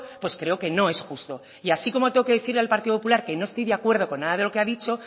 pues creo que no es justo y así como tengo que decirle al partido popular que no estoy de acuerdo con nada de lo que ha dicho